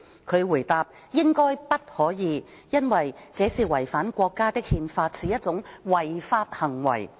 他回答："應該不可以，因為這是違反國家的《憲法》，是一種違法行為"。